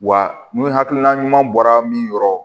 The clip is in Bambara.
Wa ni hakilina ɲuman bɔra min yɔrɔ